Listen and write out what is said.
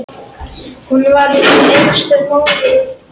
Hún varð ung einstæð móðir.